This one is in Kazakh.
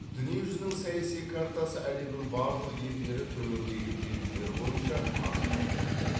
дүние жүзінің саяси картасы әлемнің барлық елдері төмендегі белгілері бойынша ажыратылады